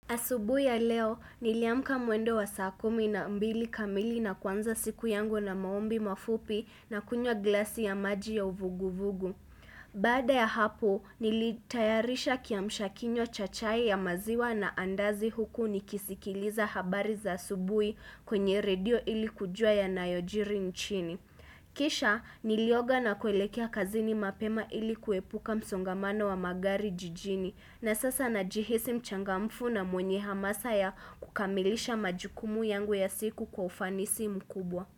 Asubuhi ya leo, niliamka mwendo wa saa kumi na mbili kamili na kuanza siku yangu na maombi mafupi na kunywa glasi ya maji ya uvugu-vugu. Baada ya hapo, nilitayarisha kiamshakinywa cha chai ya maziwa na andazi huku nikisikiliza habari za asubuhi kwenye redio ili kujua yanayojiri nchini. Kisha nilioga na kuelekea kazini mapema ili kuepuka msongamano wa magari jijini na sasa najihisi mchangamfu na mwenye hamasa ya kukamilisha majukumu yangu ya siku kwa ufanisi mkubwa.